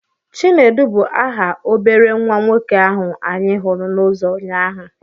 Chinedu bụ aha obere nwa nwoke ahụ anyị hụrụ n'uzo ụnyaahụ.